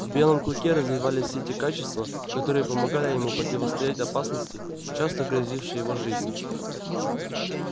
в белом клыке развивались все те качества которые помогали ему противостоять опасности часто грозившей его жизни